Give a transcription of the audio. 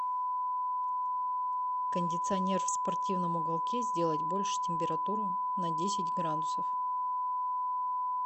кондиционер в спортивном уголке сделать больше температуру на десять градусов